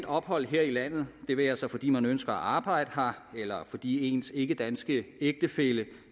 ophold her i landet det være sig fordi man ønsker at arbejde her eller fordi ens ikkedanske ægtefælle